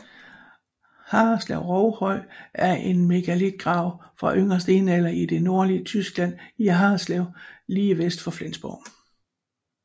Harreslev Rovhøj er en megalitgrav fra yngre stenalder i det nordlige Tyskland i Harreslev lidt vest for Flensborg